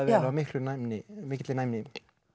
vel og af mikilli næmni mikilli næmni